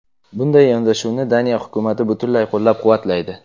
Bunday yondashuvni Daniya hukumati butunlay qo‘llab-quvvatlaydi.